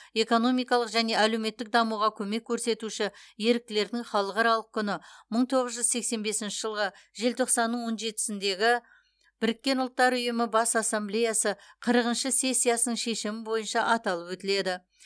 экономикалық және әлеуметтік дамуға көмек көрсетуші еріктілердің халықаралық күні мың тоғыз жүз сексен бесінші жылғы желтоқсанның он жетісіндегі біріккен ұлттар ұйымы бас ассамблеясы қырықыншы сессиясының шешімі бойынша аталып өтіледі